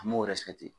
An m'o